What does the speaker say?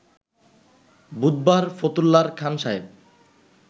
বুধবার ফতুল্লার খান সাহেব